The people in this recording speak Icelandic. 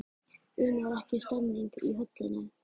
Una er ekki stemning í höllinni?